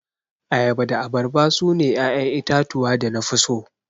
Ayaba da abarba sune 'ya'yan itatuwa da nafi so.